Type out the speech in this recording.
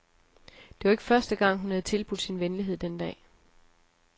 Det var ikke første gang, hun havde tilbudt sin venlighed den dag.